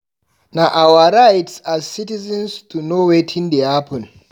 Na our rights as citizens to know wetin dey happen.